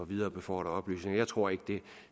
viderebefordre oplysninger jeg tror ikke der